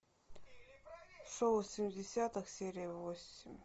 шоу семидесятых серия восемь